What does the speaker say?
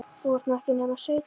þú ert nú ekki nema sautján.